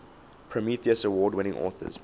prometheus award winning authors